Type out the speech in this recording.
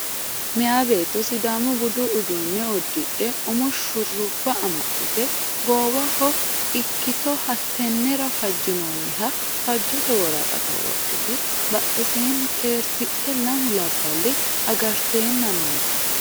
Meeya beetto sidaamu budu uddano uddidhe umo shurrubba amaxxite goowaho ikkito hattenera fajjinoonniha fajjote woraqata wodhite badheseenni xeertidhe lamu labballi agarteenna noote.